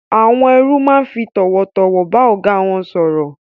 Àwon erú ma fi tòwòtòwò ba ògá won sòrò